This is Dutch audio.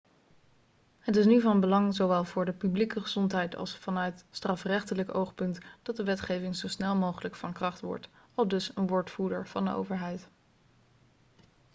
'het is nu van belang zowel voor de publieke gezondheid als vanuit strafrechtelijk oogpunt dat de wetgeving zo snel mogelijk van kracht wordt,' aldus een woordvoerder van de overheid